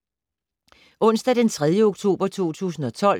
Onsdag d. 3. oktober 2012